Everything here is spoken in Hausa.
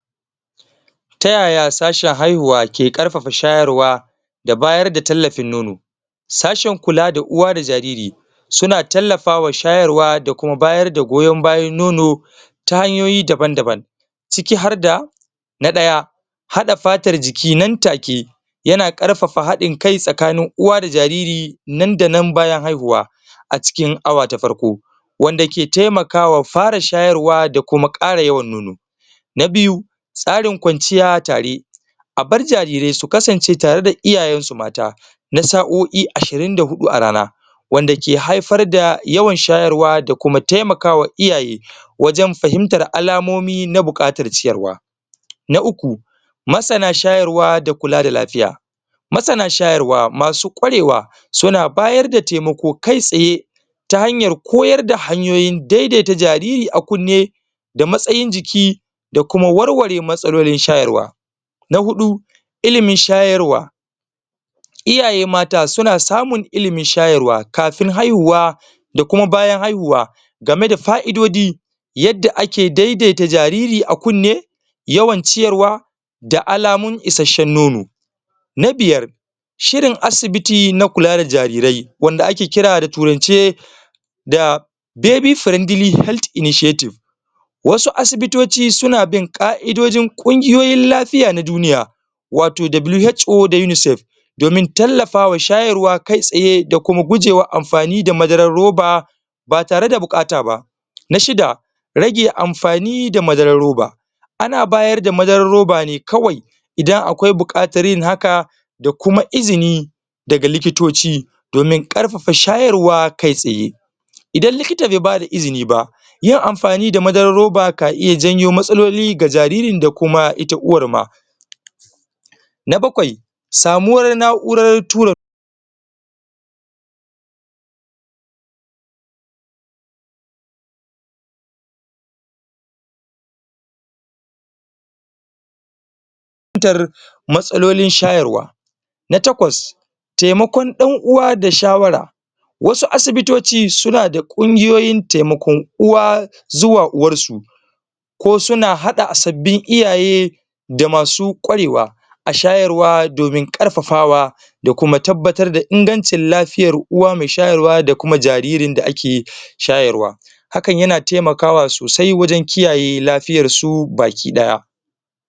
tayaya sashe haihuwa ke karfafa shayarwa da bayar da tallafin nono sashen kula da uwa da jariri suna tallafa wa shayarwa da kuma bayar da goyon bayan nono ta hanyoyi daban daban ciki har da na daya hada fatar jiki nan take yana karfafa hadin kai tsakanin uwa da jariri nan da nan bayan haihuwa a cikin awa ta farko wanda ke taimaka wa fara shayarwa da kuma kara yawan nono na biyu tsarin kwanciya tare a bar jarirai su kasance tare da iyayensu mata na sa'o'i ashirin da hudu a rana wanda ke haifar da yawan shayarwa da kuma taimakawa iyaye wajen fahimtar alamomi na bukatar ciyarwa na uku masana shayarwa da kula da lafiya masana shayarwa masu kwarewa suna bayar da taimako kai tsaye ta hanyar koyar da hanyoyin daidaita jariri a kunne da matsayin jiki da kuma warware matsalolin shayarwa na hudu ilimin shayarwa iyaye mata suna samun ilimin shayarwa kafin haihuwa da kuma bayan haihuwa game da fa-idodi yadda ake daidaita jariri a kunne yawan ciyarwa da alamun isasshen nono na biyar shirin asibiti na kula da jarirai wanda ake kira a turance da baby friendly health initiative wasu asibitoci suna bin ka'idojin kungiyoyin lafiya na duniya wato WHO da UNICEF domin tallafawa shayarwa kai tsaye da kuma kujewa amfani da madaran roba ba tare da bukata ba na shida rage amfani da madaran roba ana bayar da madaran roba ne kawai idan akwai bukatar yin haka da kuma izini daga likitoci domin karfafa shayarwa kai tsaye idan likita be bada izini ba yin amfani da madaran roba ka iya janyo matsaloli ga jaririn da kuma ita uwar ma? na bakwai samuwar na'uran tura kubutar matsalolin shayarwa na takwas taimakon dan uwa da shawara wasu asibitoci suna da kungiyoyin taimakon uwa xuwa uwarsu ko suna hada sabbin iyaye da masu kwarewa a shayarwa domin karfafawa da kuma tabbatar da ingancin lafiyar uwa me shayarwa da kuma jaririn da ake shayarwa hakan yana taimakawa sosai wajen kiyaye lafiyarsu baki daya